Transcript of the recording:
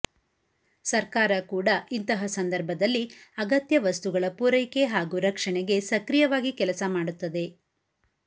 ಸರ್ಕಾರ ಕೂಡ ಇಂತಹ ಸಂದರ್ಭದಲ್ಲಿ ಅಗತ್ಯ ವಸ್ತುಗಳ ಪೂರೈಕೆ ಹಾಗೂ ರಕ್ಷಣೆಗೆ ಸಕ್ರಿಯವಾಗಿ ಕೆಲಸ ಮಾಡುತ್ತದೆ